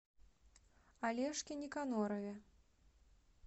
олежке никонорове